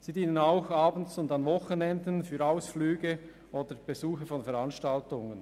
Sie leisten ihren Dienst auch abends und an Wochenenden für Ausflüge und Besuche von Veranstaltungen.